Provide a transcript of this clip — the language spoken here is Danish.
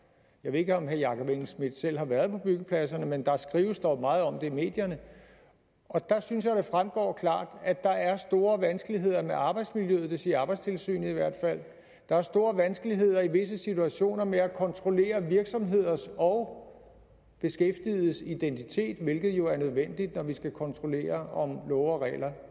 jeg ved ikke om herre jakob engel schmidt selv har været på byggepladserne men der skrives dog meget om det i medierne og der synes jeg det fremgår at der er store vanskeligheder med arbejdsmiljøet det siger arbejdstilsynet i hvert fald der er store vanskeligheder i visse situationer med at kontrollere virksomheders og beskæftigedes identitet hvilket jo er nødvendigt når vi skal kontrollere om love og regler